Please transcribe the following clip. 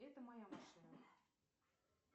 это моя машина